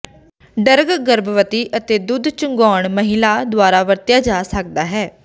drug ਗਰਭਵਤੀ ਅਤੇ ਦੁੱਧ ਚੁੰਘਾਉਣ ਮਹਿਲਾ ਦੁਆਰਾ ਵਰਤਿਆ ਜਾ ਸਕਦਾ ਹੈ